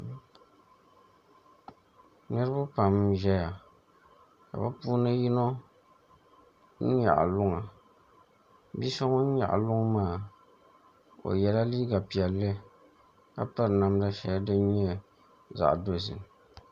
Niraba pam n ʒɛya ka bi puuni yino nyaɣa luŋa bia so ŋun nyaɣa luŋ maa o yɛla liiga piɛlli ka piri namda shɛli din nyɛ zaɣ dozim